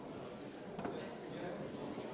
Palun!